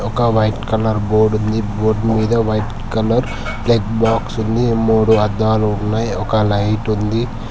ఒక white colour board ఉంది board మీద వైట్ కలర్ ప్లగ్ బాక్స్ ఉంది మూడు అద్దాలు ఉన్నాయి ఒక లైటు ఉంది.